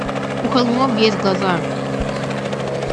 у холмов есть глаза